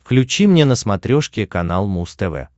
включи мне на смотрешке канал муз тв